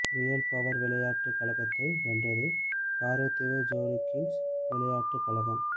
real Power விளையாட்டு கழகத்தை வென்றது காரைதீவு ஜொலிகிங்ஸ் விளையாட்டு கழகம்